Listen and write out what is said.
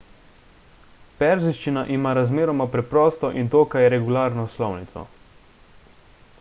perzijščina ima razmeroma preprosto in dokaj regularno slovnico